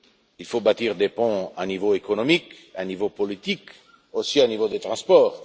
Il faut bâtir des ponts au niveau économique, au niveau politique ainsi qu'au niveau des transports.